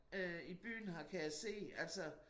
Øh i byen her kan jeg se altså